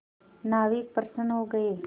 नाविक प्रसन्न हो गए